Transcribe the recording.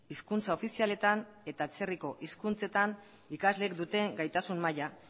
hizkuntza ofizialetan eta atzerriko hizkuntzetan ikasleek duten gaitasun maila